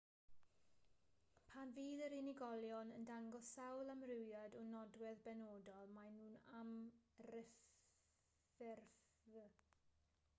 pan fydd yr unigolion yn dangos sawl amrywiad o nodwedd benodol maen nhw'n amryffurf